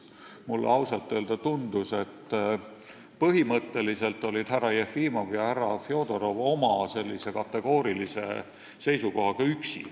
Mulle ausalt öeldes tundus, et põhimõtteliselt olid härra Jefimov ja härra Fjodorov oma kategoorilise seisukohaga üksi.